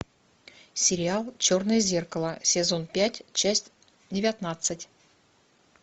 сериал черное зеркало сезон пять часть девятнадцать